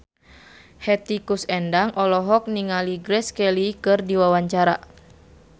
Hetty Koes Endang olohok ningali Grace Kelly keur diwawancara